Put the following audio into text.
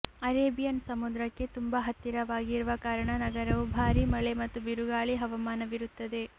Arabian ಸಮುದ್ರಕ್ಕೆ ತುಂಬಾ ಹತ್ತಿರವಾಗಿರುವ ಕಾರಣ ನಗರವು ಭಾರೀ ಮಳೆ ಮತ್ತು ಬಿರುಗಾಳಿ ಹವಾಮಾನವಿರುತ್ತದೆ